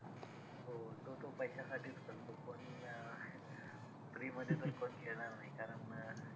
हो जो तो पैशासाठीच करतो पण अं free मध्ये तर कोण खेळणार नाही कारण अं